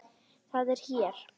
Það er hér.